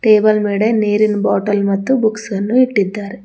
Table ಮ್ಯಾಗಡೆ ನೀರಿನ್ bottle ಮತ್ತು ಬುಕ್ಸ್ ಅನ್ನು ಇಟ್ಟಿದ್ದಾರೆ.